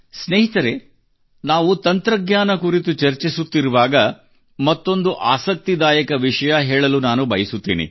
ಸ್ನೇಹಿತರೇ ನಾವು ತಂತ್ರಜ್ಞಾನ ಕುರಿತು ಚರ್ಚಿಸುತ್ತಿರುವಾಗ ಮತ್ತೊಂದು ಆಸಕ್ತಿದಾಯಕ ವಿಷಯ ಹೇಳಲು ನಾನು ಬಯಸುತ್ತೇನೆ